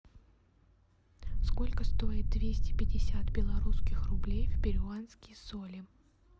сколько стоит двести пятьдесят белорусских рублей в перуанские соли